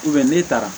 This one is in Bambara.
n'e taara